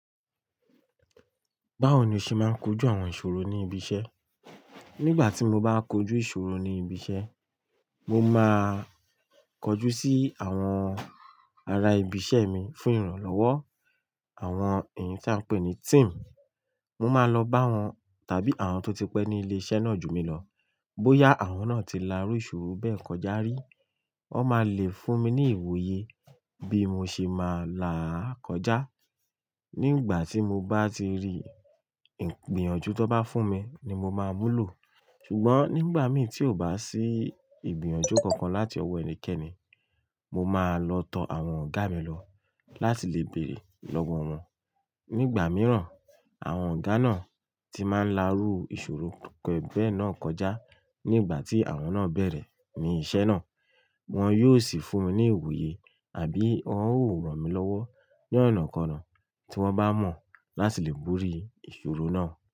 Báwo ni o ṣe máa ń kojú àwọn ìṣòro ní ibi iṣẹ́? Nígbà tí mo bá kojú ìṣòro ní ibi iṣẹ́, mo máa kọjú sí àwọn ará ibi iṣẹ́ mi fún ìrànlọ́wọ́. Àwọn èyí tí a ń pè ní team. Mo máa lọ bá wọn tàbí àwọn tó ti pẹ́ ní ilé iṣẹ́ náà ju mi lọ. Bóyá àwọn náà ti lárú ìṣòro bẹ́ẹ̀ kọjá rí, wọn máa le fún mi ní ìwoye bí mo ṣe máa là á kọjá. Nígbà tí mo bá ti rí ìgbìyànjú tan bá fún mi ni mo máa múlò. Ṣùgbọ́n nígbà mì tí ò bá sí ìgbìyànjú kankan láti ọwọ́ ẹnikẹ́ni, mo máa lọ tọo àwọn ọ̀gá mi lọ láti lè bèrè lọ́wọ́ wọn. Nígbà mìíràn, àwọn ọ̀gá náà tí máa ń lárú ìṣòro bẹ́ẹ̀ náà kọjá nígbà tí àwọn náà bẹ̀rẹ̀ ní iṣẹ́ náà, wọn yóò sì fún mi ní ìwoye àbí wọ́n ó rán mi lọ́wọ́ ní ọ̀nà kan kona tí wọ́n bá mọ̀ láti lè bori ìṣòro náà.